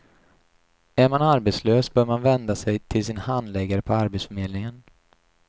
Är man arbetslös bör man vända sig till sin handläggare på arbetsförmedlingen.